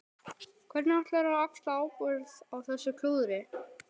Hvernig ætlarðu að axla ábyrgð á þessu klúðri?